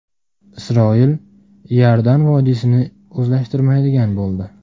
Isroil Iordan vodiysini o‘zlashtirmaydigan bo‘ldi.